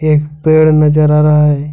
एक पेड़ नजर आ रहा है।